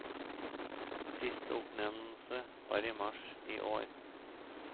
Siste oppnevnelse var i mars i år.